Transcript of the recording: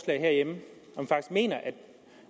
herhjemme